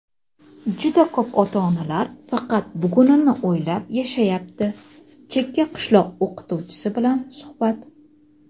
"Juda ko‘p ota-onalar faqat bugunini o‘ylab yashayapti" - chekka qishloq o‘qituvchisi bilan suhbat.